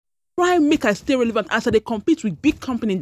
I dey try make I stay relevant as I dey compete wit big company dem.